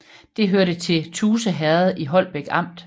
Det hørte til Tuse Herred i Holbæk Amt